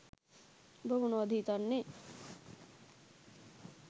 උඹ මොනවද හිතන්නෙ